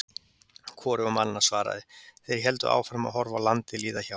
Hvorugur mannanna svaraði, þeir héldu áfram að horfa á landið líða hjá.